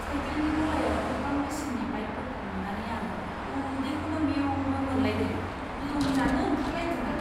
साइकेलनि गलायाव गोबां बेसेननि बाइकफोरखौ नुनानै आं उदैखौनो मेव मेव मोनलायदों। लोमजानो ओंखारलायदों आं।